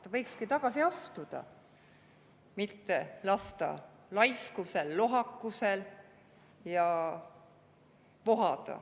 Ta võikski tagasi astuda, mitte lasta laiskusel ja lohakusel vohada.